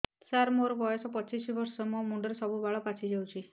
ସାର ମୋର ବୟସ ପଚିଶି ବର୍ଷ ମୋ ମୁଣ୍ଡରେ ବାଳ ସବୁ ପାଚି ଯାଉଛି